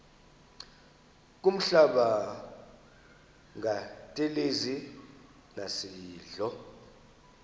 kuhlamba ngantelezi nasidlo